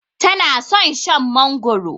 Tana son Shan mangoro